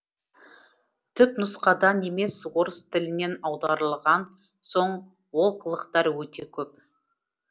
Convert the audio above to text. түпнұсқадан емес орыс тілінен аударылған соң олқылықтар өте көп